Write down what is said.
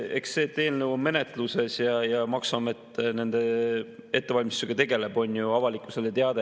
Eks see, et eelnõu on menetluses ja maksuamet nende ettevalmistustega tegeleb, on avalikkusele teada.